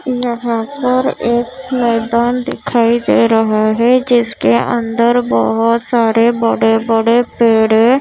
यहाँ पर एक मैदान दिखाई दे रहा है जिसके अंदर बहोत सारे बड़े बड़े पेड़ हैं।